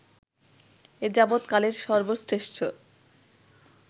এযাবত কালের সর্ব শ্রেষ্ঠ